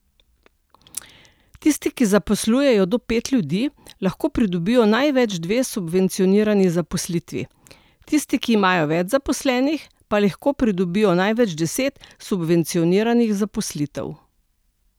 Tisti, ki zaposlujejo do pet ljudi, lahko pridobijo največ dve subvencionirani zaposlitvi, tisti, ki imajo več zaposlenih, pa lahko pridobijo največ deset subvencioniranih zaposlitev.